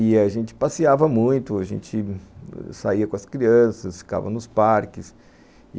E a gente passeava muito, a gente saía com as crianças, ficava nos parques.